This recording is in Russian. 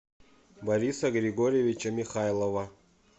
бориса григорьевича михайлова